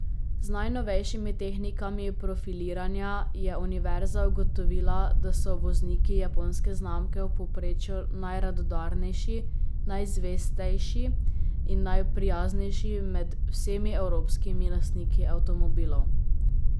Z najnovejšimi tehnikami profiliranja je univerza ugotovila, da so vozniki japonske znamke v povprečju najradodarnejši, najzvestejši in najprijaznejši med vsemi evropskimi lastniki avtomobilov.